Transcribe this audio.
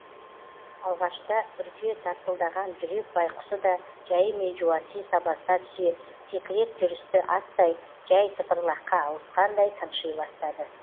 алғашта үрке тарсылдаған жүрек байқұсы да жәйімен жуаси сабасына түсе текірек жүрісті аттай жәй тыпырлаққа ауысқандай тынши бастады